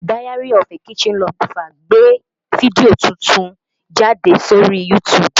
Diaryofakitchenlover gbé fídíò titun jáde sórí YouTube